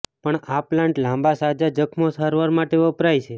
પણ આ પ્લાન્ટ લાંબા સાજા જખમો સારવાર માટે વપરાય છે